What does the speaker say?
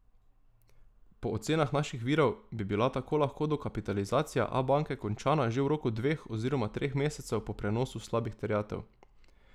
Po ocenah naših virov bi bila tako lahko dokapitalizacija Abanke končana že v roku dveh oziroma treh mesecev po prenosu slabih terjatev.